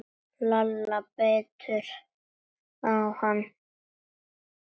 Lalla leið betur.